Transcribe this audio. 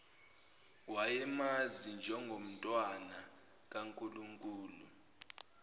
wayemazi njengomntwana kankulunkulu